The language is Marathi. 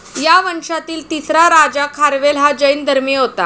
या वंशातील तिसरा राजा खारवेल हा जैन धर्मीय होता.